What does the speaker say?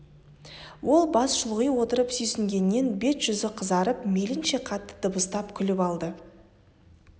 ол бас шұлғи отырып сүйсінгеннен бет-жүзі қызарып мейлінше қатты дабыстап күліп алды